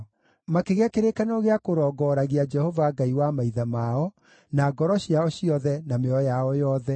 Makĩgĩa kĩrĩkanĩro gĩa kũrongooragia Jehova, Ngai wa maithe mao, na ngoro ciao ciothe na mĩoyo yao yothe.